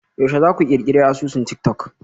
Yaushe za ku ƙirƙiri asusun tik-tok?